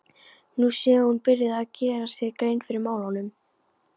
Nú sé hún byrjuð að gera sér grein fyrir málunum.